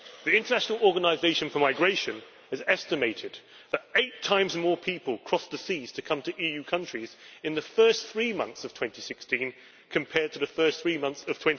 The International Organisation for Migration has estimated that eight times more people crossed the seas to come to EU countries in the first three months of 2016 compared to the first three months of